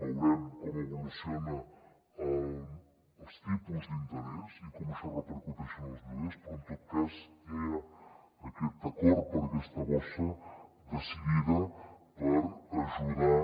veurem com evolucionen els tipus d’interès i com això repercuteix en els lloguers però en tot cas ja hi ha aquest acord per a aquesta bossa decidida per ajudar